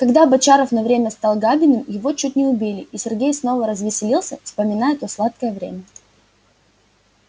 когда бочаров на время стал габиным его чуть не убили и сергей снова развеселился вспоминая то сладкое время